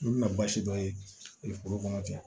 Olu bɛna baasi dɔ ye foro kɔnɔ ten